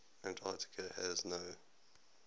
antarctica has no